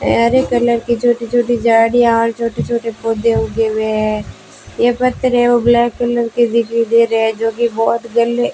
हरे colour की छोटी छोटी झाड़ियां और छोटे छोटे पौधे उगे हुए हैं ये पत्थर हैं वो ब्लैक कलर दिखाई दे रहे हैं जोकि बहोत --